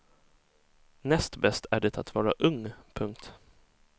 Näst bäst är det att vara ung. punkt